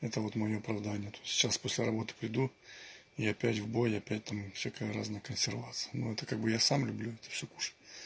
это вот моё оправдание то есть сейчас после работы приду и опять в бой и опять там всякая разная консервация но это как бы я сам люблю кушать